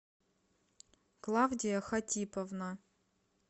клавдия хатиповна